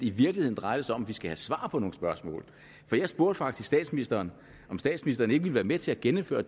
i virkeligheden drejer sig om at vi skal have svar på nogle spørgsmål jeg spurgte faktisk statsministeren om statsministeren ikke ville være med til at genindføre